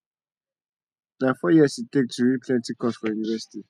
na four years e dey take to read plenty course for university